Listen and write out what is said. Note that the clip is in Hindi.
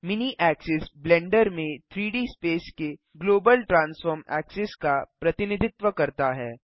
मिनी ऐक्सिस ब्लेंडर में 3डी स्पेस के ग्लोबल ट्रान्सफॉर्म ऐक्सिस का प्रतिनिधित्व करता है